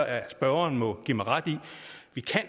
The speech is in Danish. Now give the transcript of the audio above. at spørgeren må give mig ret i at vi